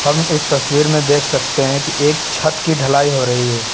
हम इस तस्वीर में देख सकते हैं कि एक छत की ढलाई हो रही है।